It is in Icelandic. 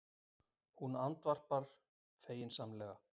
Hún andvarpar feginsamlega.